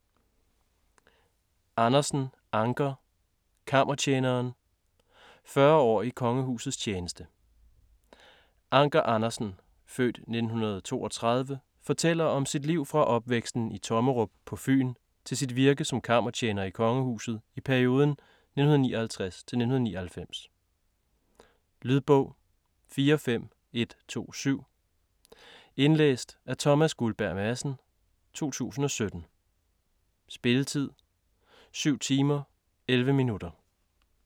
Andersen, Anker: Kammertjeneren: 40 år i kongehusets tjeneste Anker Andersen (f. 1932) fortæller om sit liv fra opvæksten i Tommerup på Fyn til sit virke som kammertjener i kongehuset i perioden 1959-1999. Lydbog 45127 Indlæst af Thomas Guldberg Madsen, 2017. Spilletid: 7 timer, 11 minutter.